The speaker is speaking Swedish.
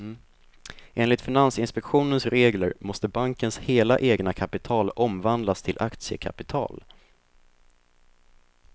Enligt finansinspektionens regler måste bankens hela egna kapital omvandlas till aktiekapital.